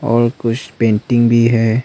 और कुछ पेंटिंग भी है।